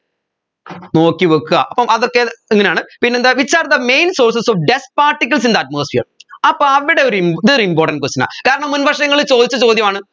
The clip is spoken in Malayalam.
നോക്കിവെക്ക അപ്പോ അതൊക്കെ ഇങ്ങനെയാണ് പിന്നെന്താ which are the main sources of dust particles in the atmosphere അപ്പോ അവിടെ ഒരു ഇമ്പ് ഇതൊരു important question ആ കാരണം മുൻവർഷങ്ങളിൽ ചോദിച്ച ചോദ്യമാണ്